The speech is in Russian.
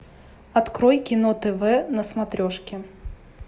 открой кино тв на смотрешке